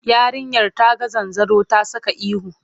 Yarinyar ta ga zanzaro ta saka ihu.